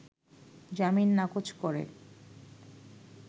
জামিন নাকচ করে